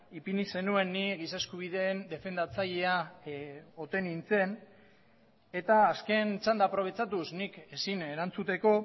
ipini zenuen ni giza eskubideen defendatzailea ote nintzen eta azken txanda aprobetxatuz nik ezin erantzuteko